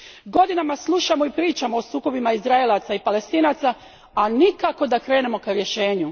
Godinama slušamo i pričamo o sukobima Izraelaca i Palestinaca, a nikako da krenemo ka rješenju.